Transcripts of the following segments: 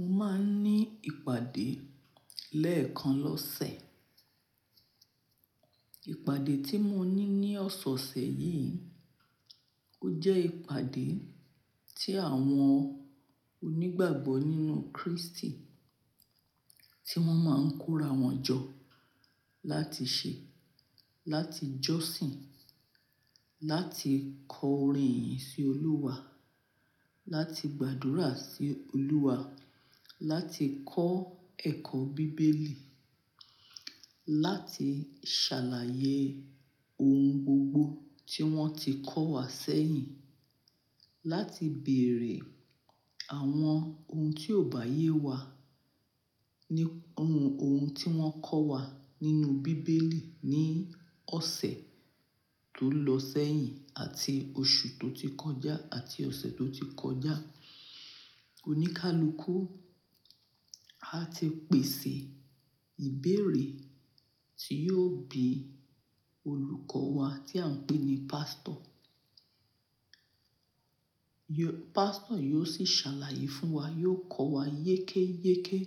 Mo máa ń ní ìpàdé lẹ́ẹ̀kan lọ́sẹ̀. Ìpàdé tí mo ní ní ọ̀sẹ̀ yìí, ó jẹ́ ìpàdé tí àwọn onígbàgbọ́ nínú Kristi tí wọ́n máa ń kóra wọn jọ láti ṣe, láti jọ́sin, láti kọ orin ìyìn sí Olúwa, láti gbàdúrà sí Olúwa, láti kọ́ ẹ̀kọ́ bíbélì, láti ṣàlàyé ohun gbogbo tí wọ́n ti kọ́ wa sẹ́yìn, láti bèèrè àwọn ohun tí ò bá yé wa ní ohun, ohun tí wọ́n kọ́ wa nínú bíbélì ní ọ̀sẹ̀ tó lọ sẹ́yìn àti oṣù tó ti kọjá àti ọ̀sẹ̀ tó ti kọjá. Oníkálukú a ti pèsè ìbéèrè tí yóò bí olùkọ́ wa tí à ń pè ní Pastor. Yo-- Pastor yóò sì ṣàlàyé fún wa, yóò kọ́ wa yékéyéké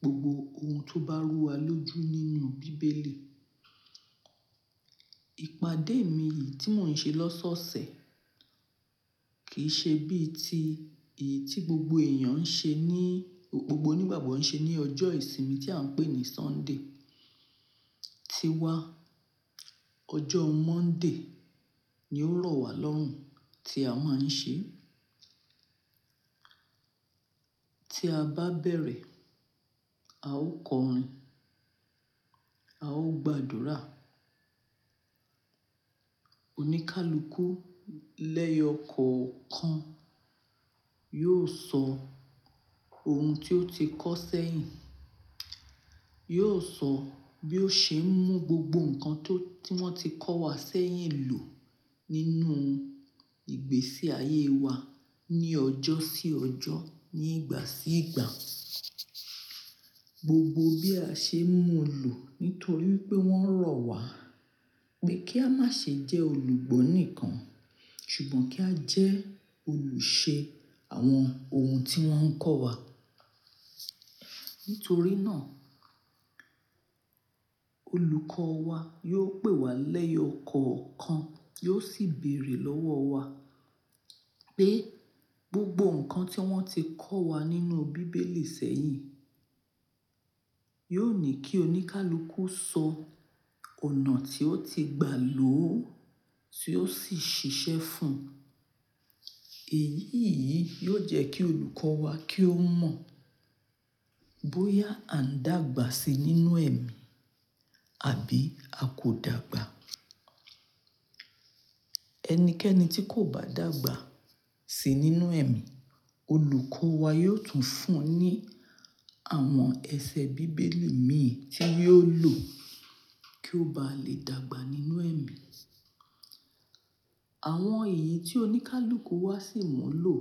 gbogbo ohun tó bá rú wa lójú nínú bíbélì. Ìpàdé mi yìí tí mò ń ṣe lọ́sọ̀ọ̀sẹ̀ kì í ṣe bí i ti èyí tí gbogbo èèyàn ń ṣe ní, gbogbo onígbàgbọ́ ń ṣe ní ọjọ́ ìsinmi tí à ń pè ní Sunday. Tíwa, ọjọ́ Monday ni ó rọ̀ wá lọ́hùn tí a máa ń ṣe. Tí a bá bẹ̀rẹ̀, a ó kọ orin, a ó gbàdúrà. Oníkálukú lẹ́yọ̀ ọ̀kọ̀ọ̀kan yóò sọ ohun tí ó ti kọ́ sẹ́yìn, yóò sọ bí ó ṣe ń mú gbogbo nǹkan tó, tí wọ́n ti kọ́ wa sẹ́yìn lò nínú ìgbésí ayé wa ní ọjọ́ sí ọjọ́, ní ìgbà sí ìgbà. Gbogbo bí a ṣe ń mú lò nítorí pé wọ́n rọ̀ wá pé kí a má ṣe jẹ́ olùgbọ́ nìkan, ṣùgbọ́n kí á jẹ́ olùṣe àwọn ohun tí wọ́n ń kọ́ wa. Nítorí náà, olùkọ́ wa yóò pè wá lẹ́yọ̀ ọ̀kọ̀ọ̀kan, yóò sì bèèrè lọ́wọ́ wa pé gbogbo nǹkan tí wọ́n ti kọ́ wa nínú bíbélì sẹ́yìn, yóò ní kí oníkálukú sọ ọ̀nà tí ó ti gbà ló, tí ó sì ṣiṣẹ́ fún. Èyí yìí yóò jẹ́ kí olùkọ́ wa kí ó mọ̀ bóyá à ń dàgbà síi nínú ẹ̀mí àbí a kò dàgbà. Ẹnikẹ́ni tí kò bá dàgbà síi nínú ẹ̀mí, olùkọ́ wa yóò tún fún un ní àwọn ẹsẹ̀ bíbélì mìíràn tí yóò lò kí ó bá lè dàgbà nínú ẹ̀mí. Àwọn èyí tí oníkálukú wa sì mọ̀ lò.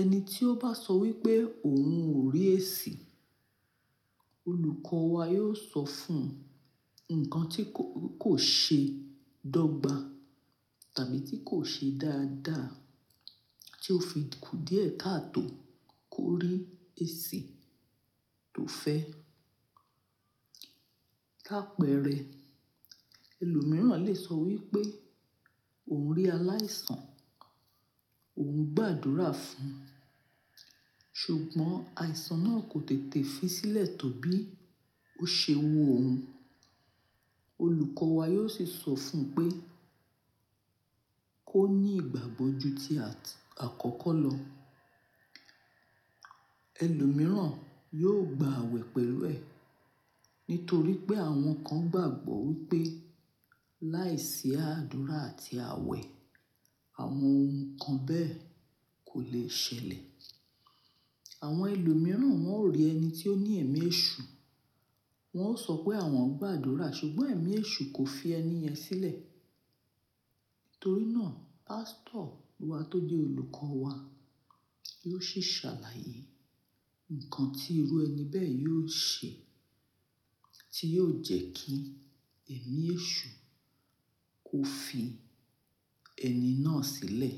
Ẹni tí ó bá sọ wípé òun ò rí èsì, olùkọ́ wa yóò sọ fún un nǹkan tí kò, kò ṣe dọ́gba tàbí tí kò ṣe dáadáa tí ó fi kù díẹ̀ káa tó kó rí èsì tó fẹ́. Láàpẹ́rẹ́, ẹlòmíràn lè sọ wípé òun rí aláìsàn, òun gbàdúrà fún, ṣùgbọ́n àìsàn náà kò tètè fi sílẹ̀ tóbí ó ṣe wò óun. Olùkọ́ wa yóò sì sọ fún un pé kó ní ìgbàgbọ́ ju tí àt- àkọ́kọ́ lọ. Ẹlòmíràn yóò gba àwẹ̀ pẹ̀lú ẹ nítorí pé àwọn kan gbàgbọ́ wípé láìsí àdúrà àti àwẹ̀, àwọn ohun kan bẹ́ẹ̀ kò lè ṣẹlẹ̀. Àwọn ẹlòmíràn wọn ò rí ẹni tí ó ní ẹ̀mí èṣù, wọn ó sọ pé àwọn ń gbàdúrà, ṣùgbọ́n ẹ̀mí èṣù kò fi ẹni yẹn sílẹ̀. Nítorí náà, Pastor wa tó jẹ́ olùkọ́ wa yóò sì ṣàlàyé nǹkan tí irú ẹni bẹ́ẹ̀ yóò ṣe tí yóò jẹ́ kí ẹ̀mí èṣù kó fi ẹni náà sílẹ̀.